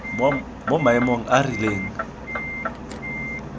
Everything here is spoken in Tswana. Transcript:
mo maemong a a rileng